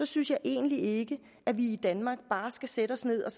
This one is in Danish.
synes jeg egentlig ikke at vi i danmark bare skal sætte os ned og